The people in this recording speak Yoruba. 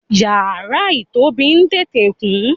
iyara itobi tete kun